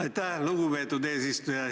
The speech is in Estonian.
Aitäh, lugupeetud eesistuja!